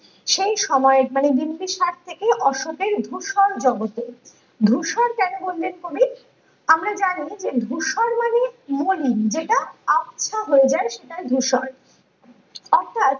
সেই সময়ের মানে বিম্বিসার থেকে অশোকের ধূসর জগতে ধূসর কেন বললেন কবি আমরা জানি যে ধূসর মানে মলিন যেটা আপছা হয়ে যায় সেটা ধূসর অর্থ্যাৎ